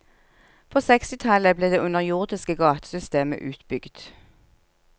På sekstitallet ble det underjordiske gatesystemet utbygd.